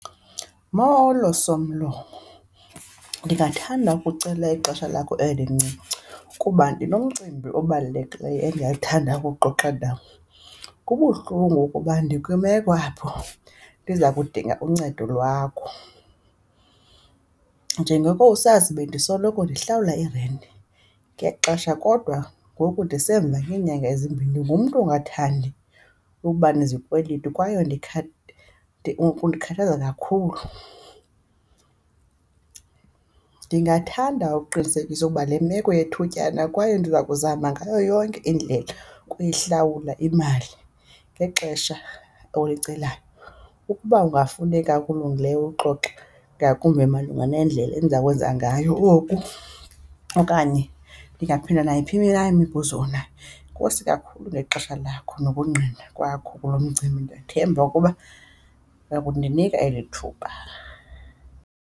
Molo somlomo. Ndingathanda ukucela ixesha lakho elincinci kuba ndinomcimbi obalulekileyo endingathanda ukuwuxoxa nawo. Kubuhlungu ukuba ndikwimeko apho ndiza kudinga uncedo lwakho. Njengoko usazi, bendisoloko ndihlawula i-rent ngexesha, kodwa ngoku ndisemva ngeenyanga ezimbini. Ndingumntu ongathandi ukuba nezikweleti, kwaye undikhathaza kakhulu. Ndingathanda ukuqinisekisa ukuba le meko yethutyana kwaye ndiza kuzama ngayo yonke indlela ukuyihlawula imali ngexesha olicelayo. Ukuba kungafuneka okulungileyo ukuxoxa ngakumbi malunga nendlela endiza kwenza ngayo oku okanye ndingaphendula nayiphi na imibuzo onayo. Enkosi kakhulu ngexesha lakho nokungqina kwakho kulo mcimbi. Ndiyathemba ukuba uya kundinika eli thuba.